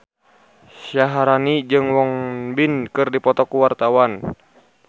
Syaharani jeung Won Bin keur dipoto ku wartawan